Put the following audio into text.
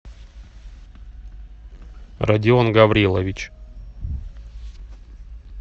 родион гаврилович